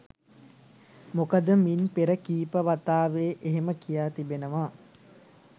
මොකද මින් පෙර කීප වතාවේ එහෙම කියා තිබෙනවා.